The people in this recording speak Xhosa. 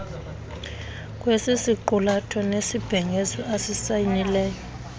kwesisiqulatho nesibhengezo asisayinileyo